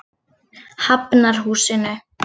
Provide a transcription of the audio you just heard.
Hafnarhúsinu